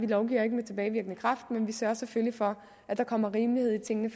lovgiver med tilbagevirkende kraft men vi sørger selvfølgelig for at der kommer rimelighed i tingene